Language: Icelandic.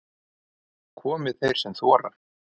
Komi þeir sem þora